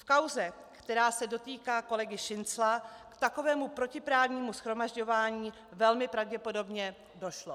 V kauze, která se dotýká kolegy Šincla, k takovému protiprávnímu shromažďování velmi pravděpodobně došlo.